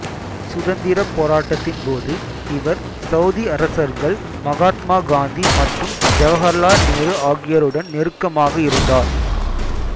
சுதந்திரப் போராட்டத்தின் போது இவர் சௌதி அரசர்கள் மகாத்மா காந்தி மற்றும் ஜவகர்லால் நேரு ஆகியோருடன் நெருக்கமாக இருந்தார்